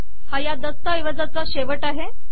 हा या दस्तऐवजाचा शेवट आहे